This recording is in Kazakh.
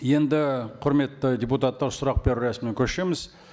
енді құрметті депутаттар сұрақ беру рәсіміне көшеміз